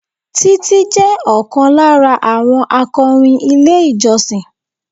Títí jẹ́ ọ̀kan lára àwọn akọrin ilé ìjọsìn